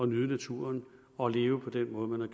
nyde naturen og leve på den måde man